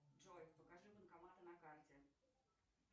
джой покажи банкоматы на карте